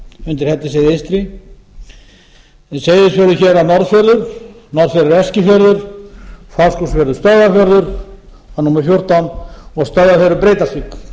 undir hellisheiði eystri seyðisfjörður hérað norðfjörður norðfjörður eskifjörður fáskrúðsfjörður stöðvarfjörður það er númer fjórtán og stöðvarfjörður breiðdalsvík þetta